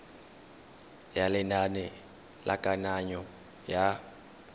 ya lenane la kananyo ya